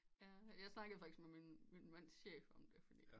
Jeg snakkede faktisk med min mands chef om det fordi